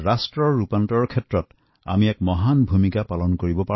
দেশৰ পৰিৱৰ্তনত ই বহুত ডাঙৰ ভূমিকা পালন কৰিব